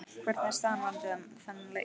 Hvernig er staðan varðandi þann leik?